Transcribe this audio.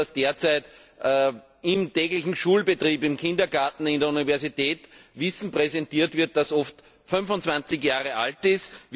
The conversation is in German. Wir wissen, dass derzeit im täglichen Schulbetrieb, im Kindergarten, in der Universität Wissen präsentiert wird, das oft 25 Jahre alt ist.